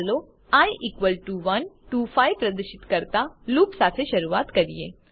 ચાલો i equal to 1 to 5 પ્રદર્શિત કરતા લૂપ સાથે શરૂઆત કરીએ